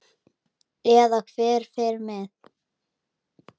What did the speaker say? Eða hver fer með.